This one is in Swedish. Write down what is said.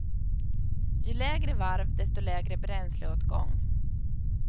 Ju lägre varv, desto lägre bränsleåtgång.